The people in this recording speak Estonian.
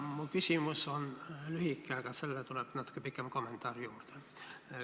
Mu küsimus on lühike, aga sellele tuleb natuke pikem kommentaar juurde.